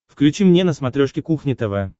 включи мне на смотрешке кухня тв